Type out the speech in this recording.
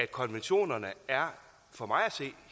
konventionerne er for mig at se